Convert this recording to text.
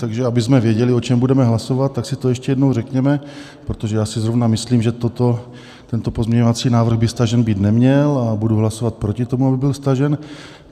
Takže abychom věděli, o čem budeme hlasovat, tak si to ještě jednou řekněme, protože já si zrovna myslím, že toto, tento pozměňovací návrh, by stažen být neměl, a budu hlasovat proti tomu, aby byl stažen.